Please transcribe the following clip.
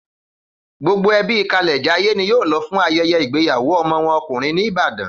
Gbogbo ẹbí Kalẹ̀jayé ni yóò lọ fún ayẹyẹ igbeyawo ọmọ wọn ọkùnrin ní Ìbàdàn